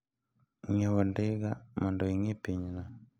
Ng'iewo ndiga mondo ing'i pinyno.